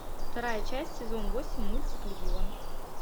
вторая часть сезон восемь мультик легион